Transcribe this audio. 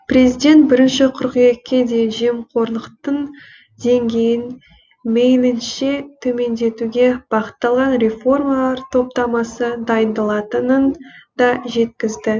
президент бірінші қыркүйекке дейін жемқорлықтың деңгейін мейлінше төмендетуге бағытталған реформалар топтамасы дайындалатынын да жеткізді